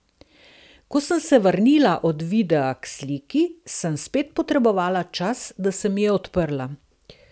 Ko sem se vrnila od videa k sliki, sem spet potrebovala čas, da se mi je odprla.